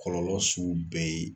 Kɔlɔlɔ sugu bɛɛ ye